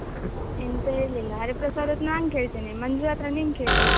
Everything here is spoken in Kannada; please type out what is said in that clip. ಎಂತ ಹೇಳಿಲ್ಲ ಹರಿಪ್ರಸಾದ್ ಹತ್ರ ನಾನ್ ಕೇಳ್ತೇನೆ ಮಂಜು ಹತ್ರ ನೀನ್ ಕೇಳು.